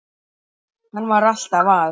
Hann var alltaf að.